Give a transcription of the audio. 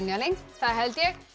það held ég